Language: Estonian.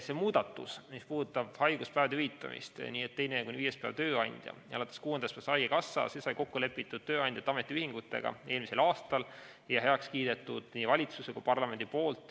See muudatus, mis puudutab haiguspäevade hüvitamist, et teisest kuni viienda päevani tööandja ja alates kuuendast päevast haigekassa, sai kokku lepitud tööandjate ja ametiühingutega eelmisel aastal ja heaks kiidetud nii valitsuses kui ka parlamendis.